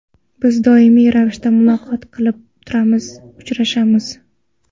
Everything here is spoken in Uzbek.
Biz doimiy ravishda muloqot qilib turamiz, uchrashamiz.